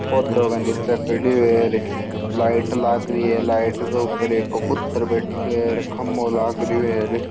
पौधे के निचे खड़ो है लाइट लागरी है लाइट के ऊपर एक कबूतर बैठे है खम्भों लागरो है।